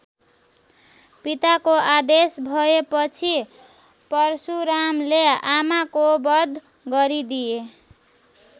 पिताको आदेश भएपछि परशुरामले आमाको वध गरिदिए।